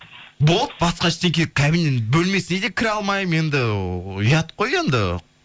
болды басқа ештеңе бөлмесіне де кіре алмаймын енді ұят қой енді